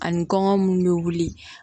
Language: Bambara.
Ani kɔngɔ minnu bɛ wuli